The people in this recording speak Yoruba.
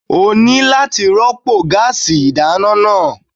O ní láti rọ́pò gáásì ìdáná náà.